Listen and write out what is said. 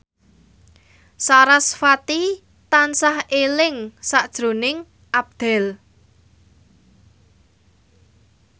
sarasvati tansah eling sakjroning Abdel